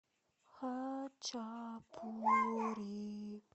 хачапури